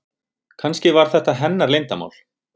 Kannski var þetta hennar leyndarmál.